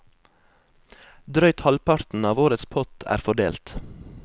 Drøyt halvparten av årets pott er fordelt.